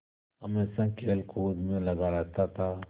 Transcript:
हमेशा खेलकूद में लगा रहता था